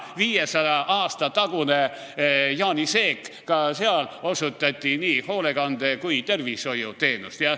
500 aasta eest Jaani seegis osutati nii hoolekande- kui ka tervishoiuteenust.